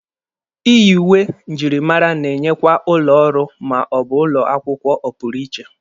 Iyi uwe njirimara na-enyekwa ụlọ ọrụ ma ọ bụ ụlọ akwụkwọ ọpụrụ iche.